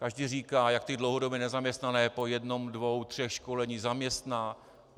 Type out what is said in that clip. Každý říká, jak ty dlouhodobě nezaměstnané po jednom, dvou, třech školeních zaměstná.